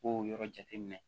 K'o yɔrɔ jateminɛ